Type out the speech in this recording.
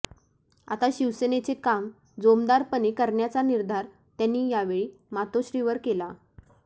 आता शिवसेनेचे काम जोमदारपणे करण्याचा निर्धार त्यांनी यावेळी मातोश्रीवर केला